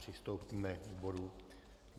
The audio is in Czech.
Přistoupíme k bodu